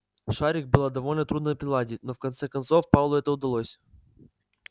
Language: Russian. шарик было довольно трудно приладить но в конце концов пауэллу это удалось